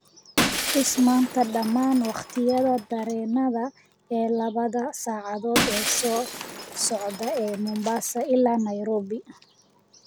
i tus maanta dhammaan wakhtiyada tareenada ee labada saacadood ee soo socda ee mombasa ilaa nairobi